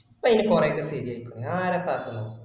ഇപ്പൊ അയിന് കൊറേ ഒക്കെ ശെരി ആയക്കു ആരപ്പ ആക്കാനോക്ക്